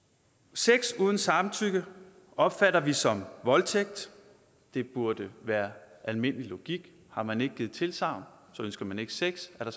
sex uden samtykke opfatter vi som voldtægt det burde være almindelig logik har man ikke givet tilsagn ønsker man ikke sex er